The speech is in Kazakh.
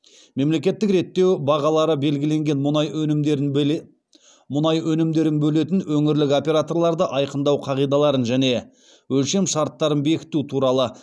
мемлекеттік реттеу бағалары белгіленген мұнай өнімдерін бөлетін өңірлік операторларды айқындау қағидаларын және өлшемшарттарын бекіту туралы